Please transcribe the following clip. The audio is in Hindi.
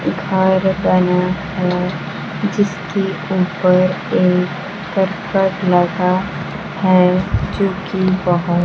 जिसके ऊपर एक करकट लगा है जोकि बहोत--